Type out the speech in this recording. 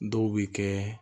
Dɔw bɛ kɛ